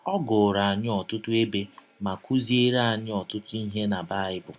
Ọ gụụrụ anyị ọtụtụ ebe ma kụziere anyị ọtụtụ ihe na Baịbụl.